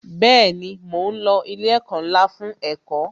Bẹẹni, mo ń lo ilé ẹ̀kọ́ ńlá fún ẹ̀kọ́